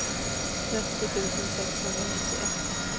trettio tusen sexhundranittioett